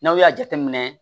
N'aw y'a jateminɛ